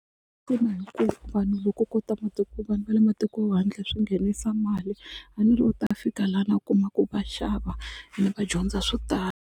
Ina hikuva vanhu loko ko ta vanhu va le matiko handle swi nghenisa mali a ni ri u ta fika lana a kuma ku va xava ene va dyondza swo tala.